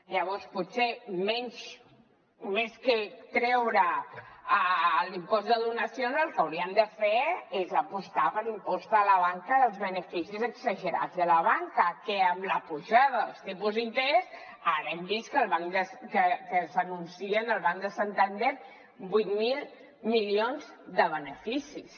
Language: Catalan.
llavors potser més que treure l’impost de donacions el que hauríem de fer és apostar per l’impost a la banca dels beneficis exagerats de la banca que amb la pujada dels tipus d’interès ara hem vist que s’anuncien del banc de santander vuit mil milions de beneficis